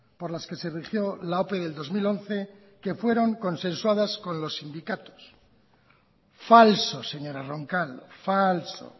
por las que se rigió la ope del dos mil once que fueron consensuadas con los sindicatos falso señora roncal falso